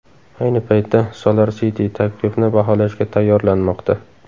Ayni paytda SolarCity taklifni baholashga tayyorlanmoqda.